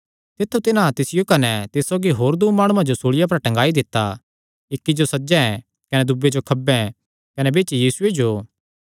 तित्थु तिन्हां तिसियो कने तिस सौगी होर दूँ माणुआं जो सूल़िया पर टंगाई दित्ता इक्की जो सज्जे कने दूये जो खब्बे कने बिच्च यीशुये जो